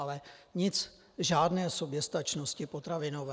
Ale nic, žádné soběstačnosti potravinové.